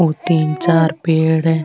और तीन चार पेड़ है।